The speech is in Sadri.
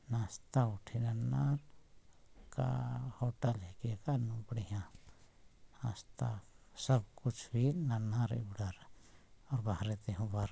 नाश्ता उठे न ननर का अअअ होटल हे के का नु बढ़िया नास्ता सब कुछ भी नन्हा रे उड़र और बाहरे ते हर ब --